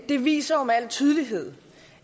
det viser jo med al tydelighed